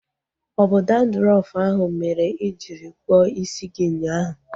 Ọ bụ dandrọfu ahụ mere i jiri kpụọ isi gị ụnyaahụ?